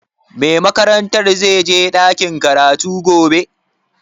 Mai makarantar zai je ɗakin karatu gobe?